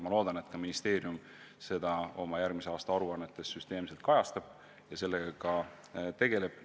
Ma loodan, et ministeerium seda tööd oma järgmise aasta aruannetes süsteemselt kajastab ja sellega tegeleb.